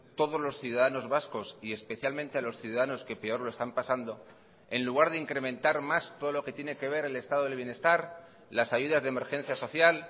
todos los ciudadanos vascos y especialmente a los ciudadanos que peor lo están pasando en lugar de incrementar más todo lo que tiene que ver el estado del bienestar las ayudas de emergencia social